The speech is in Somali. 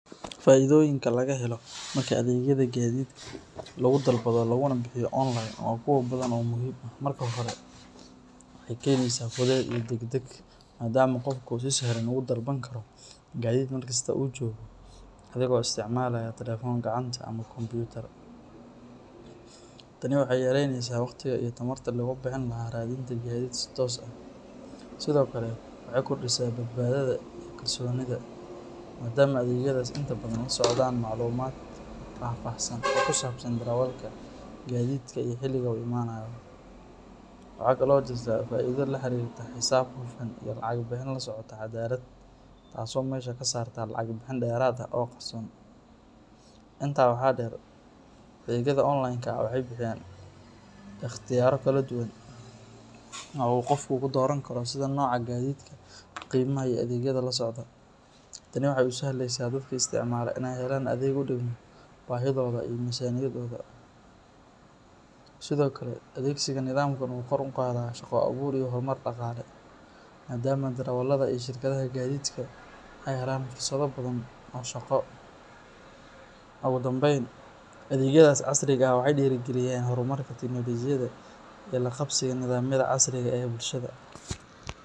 Faa’iidooyinka laga helo marka adeegyada gaadiidka lagu dalbado laguna bixiyo online waa kuwo badan oo muhiim ah. Marka hore, waxay keenaysaa fudayd iyo degdeg, maadaama qofku si sahlan ugu dalban karo gaadiid meel kasta oo uu joogo adigoo isticmaalaya taleefan gacanta ama kombuyuutar. Tani waxay yareynaysaa waqtiga iyo tamarta lagu bixin lahaa raadinta gaadiid si toos ah. Sidoo kale, waxay kordhisaa badbaadada iyo kalsoonida, maadaama adeegyadaas inta badan la socdaan macluumaad faahfaahsan oo ku saabsan darawalka, gaadiidka, iyo xilliga uu imaanayo. Waxa kale oo jirta faa’iido la xiriirta xisaab hufan iyo lacag bixin la socota caddaalad, taas oo meesha ka saarta lacag bixin dheeraad ah oo qarsoon. Intaa waxaa dheer, adeegyada online-ka ah waxay bixiyaan ikhtiyaarro kala duwan oo uu qofku ka dooran karo sida nooca gaadiidka, qiimaha, iyo adeegyada la socda. Tani waxay u sahlaysaa dadka isticmaala inay helaan adeeg u dhigma baahidooda iyo miisaaniyadooda. Sidoo kale, adeegsiga nidaamkan wuxuu kor u qaadaa shaqo abuur iyo horumar dhaqaale, maadaama darawallada iyo shirkadaha gaadiidka ay helaan fursado badan oo shaqo. Ugu dambeyn, adeegyadaas casriga ah waxay dhiirrigeliyaan horumarka tiknoolajiyadda iyo la qabsiga nidaamyada casriga ah ee bulshada.